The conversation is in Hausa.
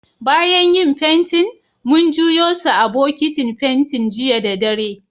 Bayan yin fentin, mun juyo su a'bokitin fentin jiya da dare.